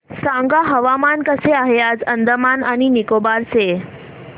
सांगा हवामान कसे आहे आज अंदमान आणि निकोबार चे